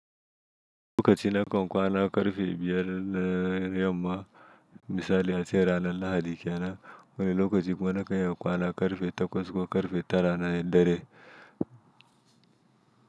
Lokaci na kan kwana ƙarfe biyar na yamma misali a ce ranar Lahadi kenan, wani lokaci kuma na kan iya kwana ƙarfe takwas ko ƙarfe tara na dare.